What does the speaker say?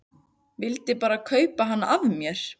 Vildi bara kaupa hana af mér!